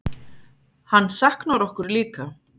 Hann saknar okkur líka.